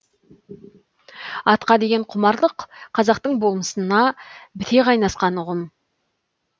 атқа деген құмарлық қазақтың болмысында біте қайнасқан ұғым ғой